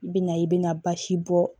I bɛna i bɛna basi bɔ